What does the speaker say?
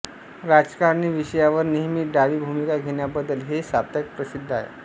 राजकारणी विषयांवर नेहमी डावी भूमिका घेण्याबद्दल हे साप्ताहिक प्रसिद्ध आहे